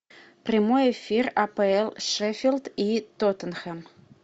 прямой эфир апл шеффилд и тоттенхэм